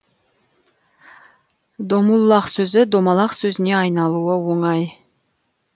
домуллах сөзі домалақ сөзіне айналуы оңай